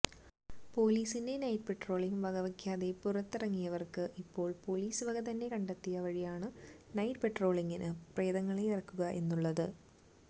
പോലീസിന്റെ night patrolling വകവെക്കാതെ പുറത്തിറങ്ങിയവര്ക്ക് ഇപ്പോള് പോലീസ് തന്നെ കണ്ടെത്തിയ വഴിയാണ് നൈറ്റ് പട്രോളിംങിന് പ്രേതങ്ങളെ ഇറക്കുക എന്നുള്ളത്